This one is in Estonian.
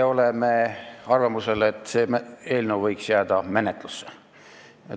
Me oleme arvamusel, et see eelnõu võiks jääda menetlusse.